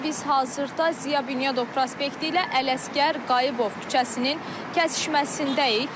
Biz hazırda Ziya Bünyadov prospekti ilə Ələsgər Qayıbov küçəsinin kəsişməsindəyik.